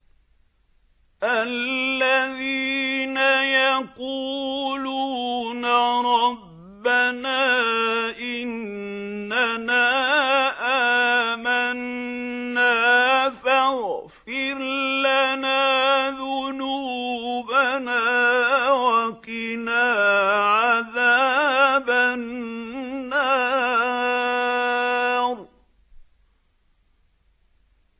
الَّذِينَ يَقُولُونَ رَبَّنَا إِنَّنَا آمَنَّا فَاغْفِرْ لَنَا ذُنُوبَنَا وَقِنَا عَذَابَ النَّارِ